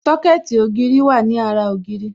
Sọ́kẹ̀tì ògiri wà ní ara ògiri